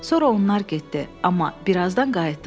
Sonra onlar getdi, amma birazdan qayıtdılar.